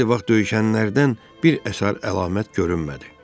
Xeyli vaxt döyüşənlərdən bir əsər əlamət görünmədi.